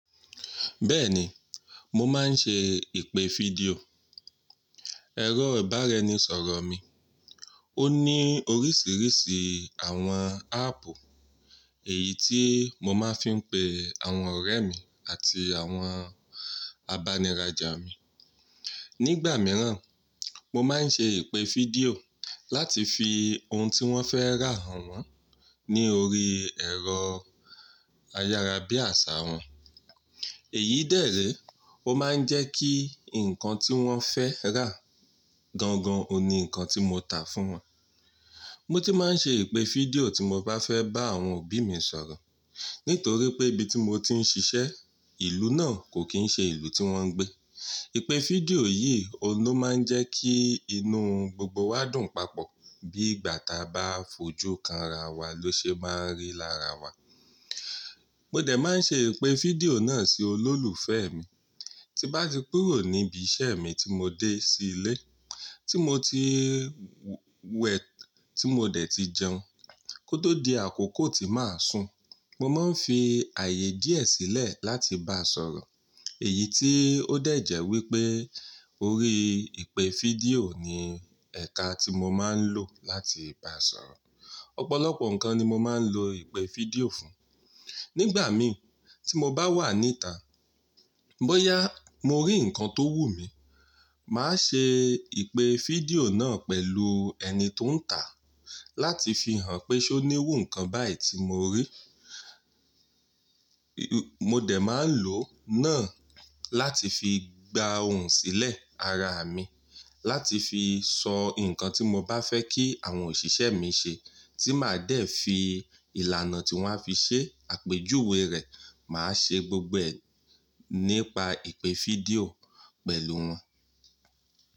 Bẹ́ẹ̀ni, mo máa ń ṣe ìpè video. Ẹ̀rọ ìbára ẹni sọ̀rọ̀ mi. O Ó ní oríṣiríṣi àwọn app, èyí tí mo máa ń fi n pe àwọn ọ̀rẹ́ mi àti àwọn abaniràjà mi. Nígbà míràn, mo máa ń ṣe ìpè video láti fi ohun tí wọ́n fẹ́ rà hàn wọ́n ní orí ẹ̀rọ ayárabíàṣá wọn. Èyí dè ré, ó máa ń jẹ́ kí ǹkan tí wọ́n fẹ́ rà gan gan òhun ní ǹkan tí mo tà fún wọn. Mo ti máa ń ṣe ìpè fídíò tí mo bá fẹ́ bá àwọn òbí mi sọ̀rọ̀. Nítorí pé ibi tí mo ti ń ṣ'iṣẹ́, ìlú náà kò kín ṣe ìlú tí wọ́n ń gbé. Ìpè fídíò yìí òun ló máa ń jẹ́ kí inú gbogbo wa dùn papọ̀ bí ìgbà taa bá f'ojú kanra wa ló ṣe máa ń rí lára wa. Mo dẹ̀ máa ń ṣe ìpè fídíò náà sí olólùfẹ́ mi tí bá ti kúrò ni íbi iṣẹ́ mi tí mo dé s'ílé, tí mo ti wẹ̀, tí mo dẹ̀ ti jẹun, kó tó di àkókò tí màá sùn. Mo máa ń fi ààyè díẹ̀ sílẹ̀ láti bá a sọ̀rọ̀. Èyí tí ó dẹ̀ jẹ́ wípé orí ìpè fídíò ni ẹ̀ka tí mo máa ń lò láti bá a sọ̀rọ̀. Ọ̀pọ̀lọpọ̀ ǹkan ni mo máa ń lo ìpè fídíò fún. Nígbà mi tí mo bá wà n'íta, bóyá mo rí ǹkan tó wù mí, màá ṣe ìpè fídíò náà pẹ̀lú ẹni ti o ń tà láti fi hàn pé ṣé ó ní irù ǹkan báyì tí mo rí. Mo dẹ̀ máa ń lò náà láti fi gba ohun sílẹ̀ ara mi, láti fi sọ ǹkan tí mo bá fẹ́ kí àwọn òṣìṣẹ́ mi ṣe tí màá dẹ̀ fi ìlànà tí wọ́n á fi ṣe àpèjúwe rẹ̀, màá ṣe gbogbo rẹ nípa ìpè videò pẹ̀lú wọn.